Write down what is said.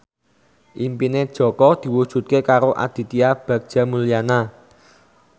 impine Jaka diwujudke karo Aditya Bagja Mulyana